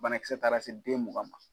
Bana kisɛ taara se den mugan ma